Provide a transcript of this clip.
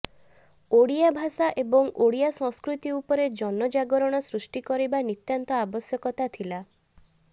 ଓଡ଼ିଆ ଭାଷା ଏବଂ ଓଡ଼ିଆ ସଂସ୍କୃତି ଉପରେ ଜନଜାଗରଣ ସୃଷ୍ଟିକରିବା ନିତ୍ୟାନ୍ତ ଆବଶ୍ୟକତା ଥିଲା